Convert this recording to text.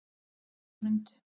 Espigrund